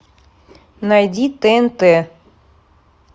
найди тнт